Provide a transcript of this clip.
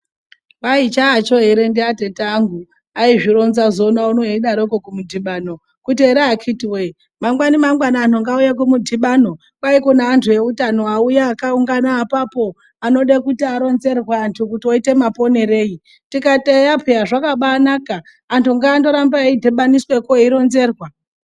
Kwai chaacho ere ndiatete angu azvironzazoona unowu eidarokwo kumudhibano kuti ere akiti wee mangwani mangwani antu ngauye kumudhibano kwao kune antu eutano auya akaungana apapo anode kuti aronzerwe kuti antu oite maponerei tikati eya paa zvakabaa naka antu ngaarambe eidhibhaniswakwo eironzerwa.